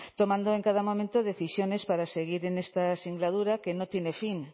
tomando en cada momento decisiones para seguir en esta singladura que no tiene fin